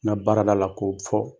Ŋa baarada la k'o fɔ.